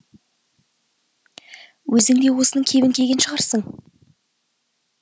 өзің де осының кебін киген шығарсың